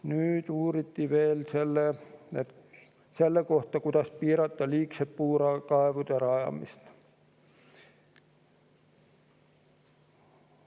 Nüüd uuriti veel selle kohta, kuidas piirata liigset puurkaevude rajamist.